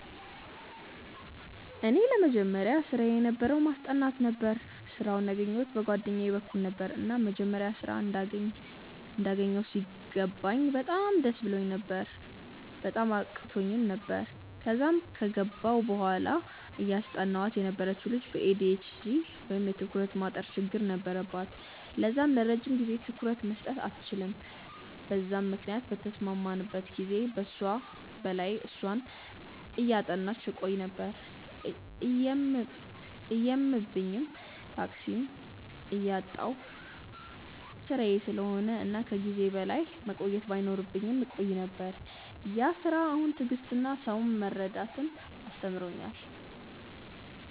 ለኔ የመጀመሪያ ስራየ የነበረው ማስጠናት ነበረ። ስራውን ያገኘዉት በ ጓደኛየ በኩል ነበረ፤ እና መጀመሪያ ስራ እንዳገኘው ሲገባኝ በጣም ደስ ብሎኝ ነበር፤ ማመን አቅቶኝ ነበር፤ ከዛም ከገባው በኋላ እያስጠናዋት የነበረችው ልጅ በ ኤ.ዲ.ኤ.ች.ዲ ወይም የ ትኩረት ማጠር ችግር ነበረባት ለዛም ለረጅም ጊዜ ትኩረት መስጠት አትችልም በዛም ምክንያት ከተስማማንበት ጊዜ በላይ እሷን እያጠናው ቆይ ነበር፤ እየመብኝም፤ ታክሲም እያጣው ስራዬ ስለሆነ እና ከ ጊዜዬ በላይ መቆየት ባይኖርብኝም እቆይ ነበር፤ ያ ስራ አሁን ትዕግስትን እና ሰውን መረዳትን አስተምሮኛል።